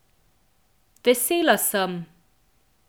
Vesela sem.